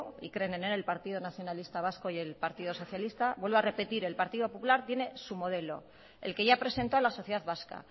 y creen en él el partido nacionalista vasco y el partido socialista vuelvo a repetir el partido popular tiene su modelo el que ya presentó a la sociedad vasca